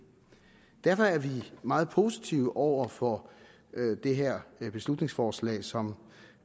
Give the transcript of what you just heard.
derfor er vi meget positive over for det her beslutningsforslag som